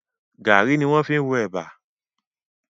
Gàárì ni wọ́n fi ń ro ẹ̀bà